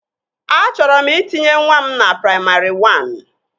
Achọrọ m itinye nwa m na praimarị wan